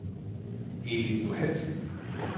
Elin Johansen